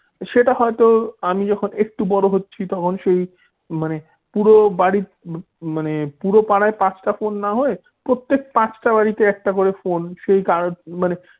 সেটা হয়তো আমি যখন একটু বড় হচ্ছি তখন সেই মানে পুরো বাড়ির মানে পুরো বাডি পাড়ায় পাচটা ফোন না হয় প্রত্যেক পাঁচটা বাড়িতে একটা করে ফোন সে কারো মানে,